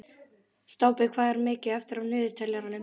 Stapi, hvað er mikið eftir af niðurteljaranum?